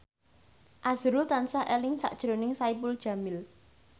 azrul tansah eling sakjroning Saipul Jamil